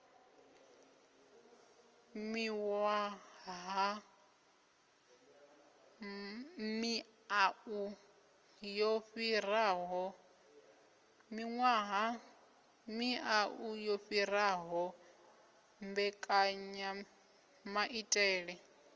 miwaha miau yo fhiraho mbekanyamaitele